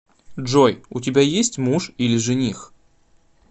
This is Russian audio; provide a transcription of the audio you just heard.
джой у тебя есть муж или жених